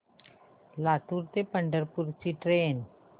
लातूर ते पंढरपूर ची ट्रेन